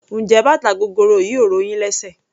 Njé bàtà gogoro yìí ò ro yín lésè?